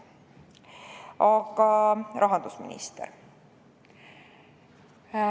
Aga nüüd rahandusministrist.